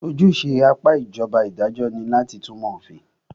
Ojúṣe apá ìjọba idajọ́ ní láti túnmọ̀ òfin.